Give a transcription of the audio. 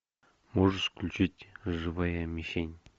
можешь включить живая мишень